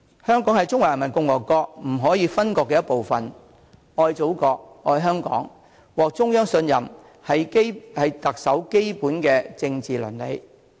香港是中華人民共和國不可分割的一部分，愛祖國、愛香港、獲得中央信任，是特首的基本政治倫理。